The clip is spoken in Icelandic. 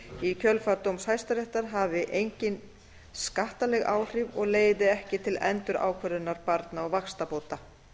í kjölfar dóms hæstaréttar hafi engin skattaleg áhrif og leiði ekki til endurákvörðunar barna og vaxtabóta